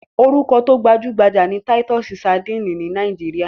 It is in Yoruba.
Orúkọ tí ó gbajúgbajà ni Táítọ́sí sadíìnì ní Nàíjíríà.